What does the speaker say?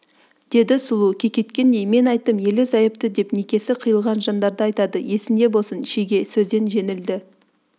деді сұлу кекеткендей мен айттым ерлі-зайыпты деп некесі қиылған жандарды айтады есінде болсын шеге сөзден жеңілді